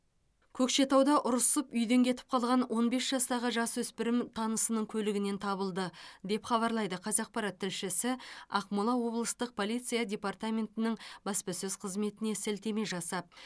көкшетауда ұрысып үйден кетіп қалған он бес жастағы жасөспірім танысының көлігінен табылды деп хабарлайды қазақпарат тілшісі ақмола облыстық полиция департаментінің баспасөз қызметіне сілтеме жасап